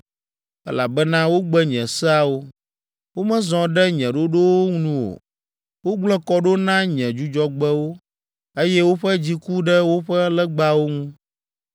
elabena wogbe nye seawo, womezɔ ɖe nye ɖoɖowo nu o, wogblẽ kɔ ɖo na nye Dzudzɔgbewo, eye woƒe dzi ku ɖe woƒe legbawo ŋu.